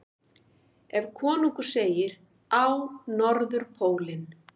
Ef konungur segir: Á Norðurpólinn!